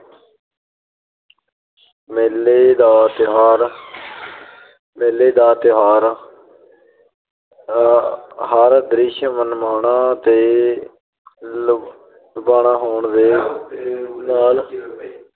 ਮੇਲੇ ਦਾ ਤਿਉਹਾਰ- ਮੇਲੇ ਦਾ ਤਿਉਹਾਰ ਮੇਲੇ ਦਾ ਹਰ ਦ੍ਰਿਸ਼ ਮਨਮੋਹਣਾ ਤੇ ਲੁਭਾਵਣਾ ਹੋਣ ਦੇ ਨਾਲ